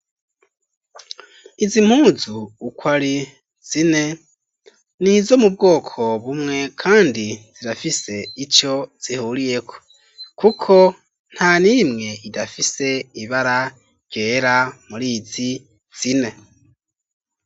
Izi mpuzu uko ari zine nizo mu bwoko bumwe kandi zirafise ico zihuriyeko kuko nta nimwe idafise ibara ryera muri izi zine .